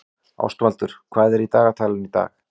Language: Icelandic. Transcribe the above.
Ástvaldur, hvað er í dagatalinu í dag?